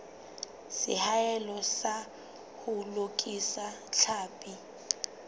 seahelo sa ho lokisa tlhapi